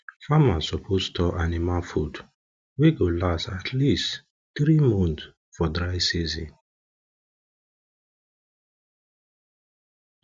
farmers suppose store anima food wey go last at least three months for dry season